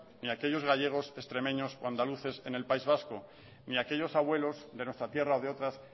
ni aquellos gallegos extremeño o andaluces en el país vasco ni aquellos abuelos de nuestra tierra o de otras